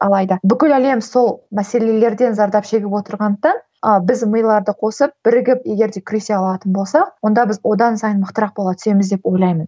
алайда бүкіл әлем сол мәселелерден зардап шегіп отырғандықтан ы біз миларды қосып бірігіп егер де күресе алатын болсақ онда біз одан сайын мықтырақ бола түсеміз деп ойлаймын